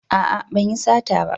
A'a ban yi sata ba